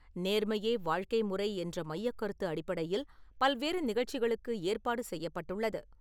நேர்மையே வாழ்க்கை முறை என்ற மையக் கருத்தின் அடிப்படையில் பல்வேறு நிகழ்ச்சிகளுக்கு ஏற்பாடு செய்யப்பட்டுள்ளது.